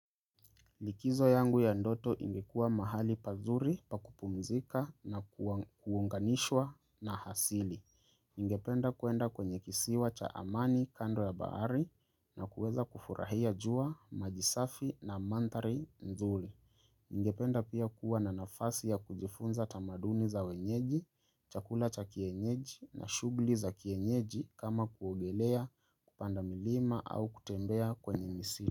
Likizo yangu ya ndoto ingekua mahali pazuri pakupumzika na kuunganishwa na hasili. Ngependa kuenda kwenye kisiwa cha amani kando ya baari na kuweza kufurahia jua majisafi na mantari nzuri. Ngependa pia kuwa na nafasi ya kujifunza tamaduni za wenyeji, chakula cha kienyeji na shugli za kienyeji kama kuogelea kupanda milima au kutembea kwenye misili.